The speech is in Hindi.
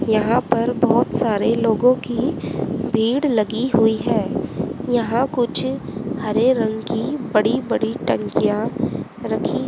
यहां पर बहोत सारे लोगों की भीड़ लगी हुई है यहां कुछ हरे रंग की बड़ी बड़ी टंकियां रखी--